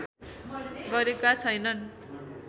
गरेका छैनन्